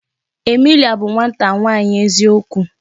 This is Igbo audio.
Emilia bụ nwata nwaanyi eziokwu.